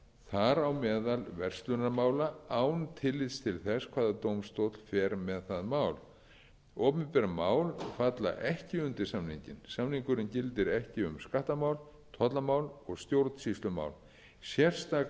þar á meðal verslunarmála án tillits til þess hvaða dómstóll fer með það mál opinber mál falla ekki undir samninginn samningurinn gildir ekki um skattamál tollamál og stjórnsýslumál sérstaklega